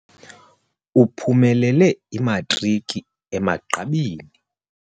Uphumelele imatriki emagqabini.